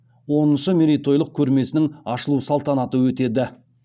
оныншы мерейтойлық көрмесінің ашылу салтанаты өтеді